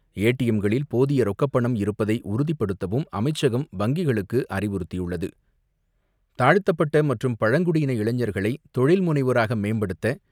ஏடிஎம்களில் போதிய ரொக்கப்பணம் இருப்பதை உறுதிப்படுத்தவும் அமைச்சகம் வங்கிகளுக்கு அறிவுறுத்தியுள்ளது. தாழ்த்தப்பட்ட மற்றும் பழங்குடியின இளைஞர்களை தொழில் முனைவராக மேம்படுத்த,